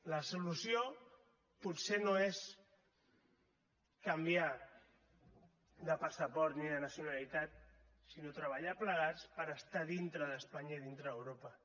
la solució potser no és canviar de passaport ni de nacionalitat sinó treballar plegats per estar dintre d’espanya i dintre d’europa